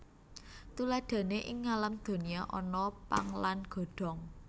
Tuladhané ing ngalam donya ana pang lan godhong